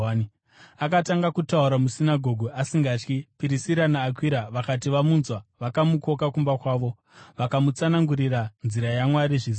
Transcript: Akatanga kutaura musinagoge asingatyi. Pirisira naAkwira vakati vamunzwa, vakamukoka kumba kwavo vakamutsanangurira nzira yaMwari zvizere.